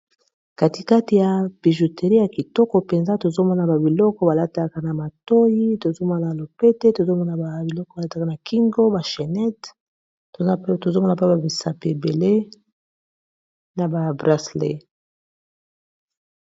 Katikati ya bijouteri ya kitoko mpenza, tozo mona ba biloko balataka na matoyi. tozo mona lopete, tozo mona ba biloko ba lataka na kingo bachenet tozomona pe ba bisapi ebele na ba brasele.